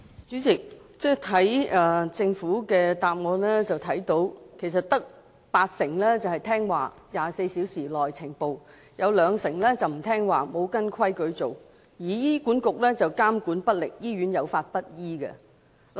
主席，從政府的主體答覆看到，其實只有八成醫院會在24小時內呈報，兩成醫院則沒有按照規矩做，而醫管局則監管不力，以致醫院有法不依。